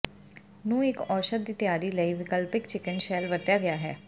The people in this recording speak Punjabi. ਨੂੰ ਇੱਕ ਔਸ਼ਧ ਦੀ ਤਿਆਰੀ ਲਈ ਵਿਕਲਪਿਕ ਚਿਕਨ ਸ਼ੈੱਲ ਵਰਤਿਆ ਗਿਆ ਹੈ